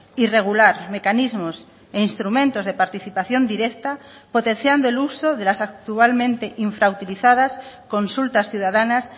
y regular mecanismos e instrumentos de participación directa potenciando el uso de las actualmente infrautilizadas consultas ciudadanas